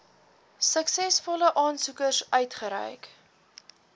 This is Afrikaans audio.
suksesvolle aansoekers uitgereik